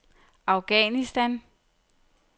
Afghanistan